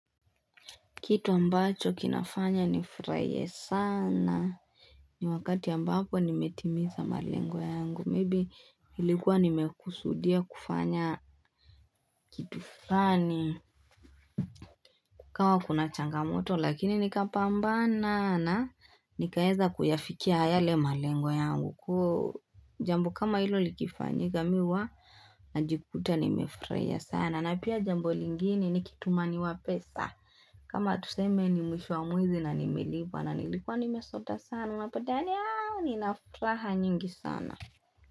Kitu ambacho kinafanya nifurahie sana. Ni wakati ambapo nimetimiza malengo yangu. Maybe ilikuwa nimekusudia kufanya kitu fulani. Kama kuna changamoto lakini nikapambana na nikaweza kuyafikia yale malengo yangu. Jambo kama hilo likifanyika mimi huwa najikuta nimefurahia sana. Na pia jambo lingine nikitumaniwa pesa. Kama tuseme ni mwisho wa mwezi na nimelipa na nilikuwa nimesota sana Unapodhani nina furaha nyingi sana.